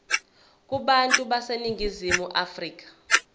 kubantu baseningizimu afrika